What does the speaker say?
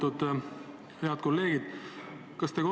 Lugupeetud head kolleegid!